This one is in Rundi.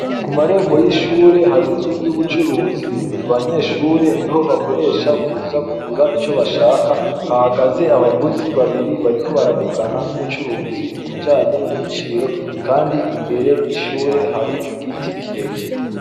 Kumarembo y’ishure har’inzu y’ubucuruzi, abanyeshure niho bakoresha kuza kugura ico bashaka, hahagaze abaguzi babiri bariko baravugana n’umucuruzi ibijanye n’ibiciro Kandi imbere y’ishure hari igiti kirekire.